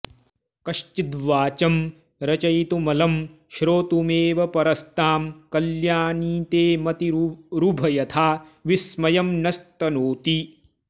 कश्चिद्वाचं रचयितुमलं श्रोतुमेवाऽपरस्तां कल्याणी ते मतिरुभयथा विस्मयं नस्तनोति